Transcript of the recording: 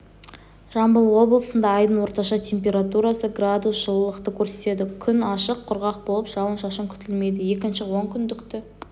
жамбыл облысында айдың орташа температурасы градус жылықты көрсетеді күн ашық құрғақ болып жауын-шашын күтілмейді екінші онкүндікті